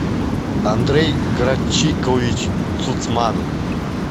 андрей грачикович цуцманов